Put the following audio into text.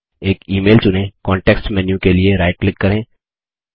एक email चुनें context menu के लिए राइट क्लिक करें